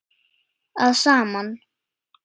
að saman.